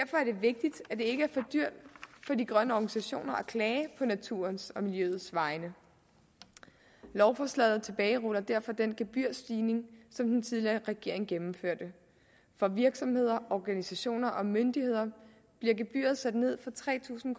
vigtigt at det ikke er for dyrt for de grønne organisationer at klage på naturens og miljøets vegne lovforslaget tilbageruller derfor den gebyrstigning som den tidligere regering gennemførte for virksomheder organisationer og myndigheder bliver gebyret sat ned fra tre tusind